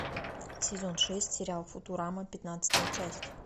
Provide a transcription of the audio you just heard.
сезон шесть сериал футурама пятнадцатая часть